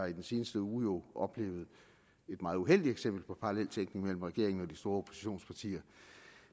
i den seneste uge oplevet et meget uheldigt eksempel på paralleltænkning mellem regeringen og de store oppositionspartier